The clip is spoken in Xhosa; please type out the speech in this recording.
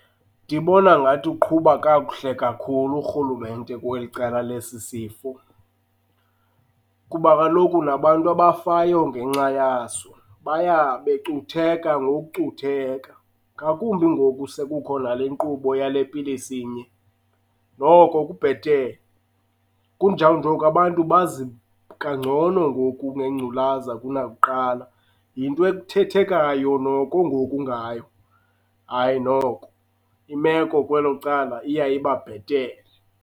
Ndibona ngathi uqhuba kakuhle kakhulu urhulumente kweli cala lesi sifo kuba kaloku nabantu abafayo ngenxa yaso baya becutheka ngokucutheka, ngakumbi ngoku sekukho nale nkqubo yale pilisi inye. Noko kubhetele, kunjawunje oku abantu bazi kangcono ngoku ngengculaza kunakuqala. Yinto ethethekayo noku ngoku ngayo. Hayi noko, imeko kwelo cala iya iba bhetele.